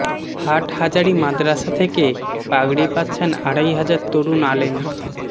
হাটহাজারী মাদরাসা থেকে পাগড়ি পাচ্ছেন আড়াই হাজার তরুণ আলেম